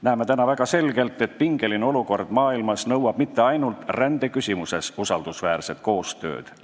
Näeme väga selgelt, et pingeline olukord maailmas ei nõua usaldusväärset koostööd mitte ainult rändeküsimuses.